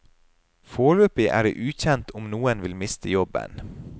Foreløpig er det ukjent om noen vil miste jobben.